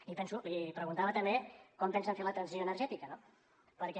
i li preguntava també com pensen fer la transició energètica no perquè a mi